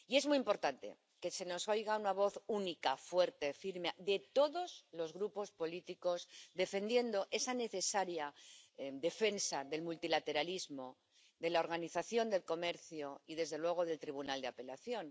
Y es muy importante que se oiga una voz única, fuerte, firme, de todos los grupos políticos haciendo esa necesaria defensa del multilateralismo de la Organización Mundial del Comercio y, desde luego, del Órgano de Apelación.